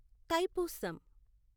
Thaipusam